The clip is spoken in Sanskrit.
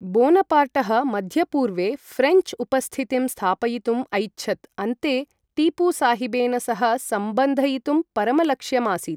बोनपार्टः मध्यपूर्वे ऴ्रेञ्च् उपस्थितिं स्थापयितुम् ऐच्छत्, अन्ते टीपू साहिबेन सह सम्बन्धयितुं परमलक्ष्यमासीत्।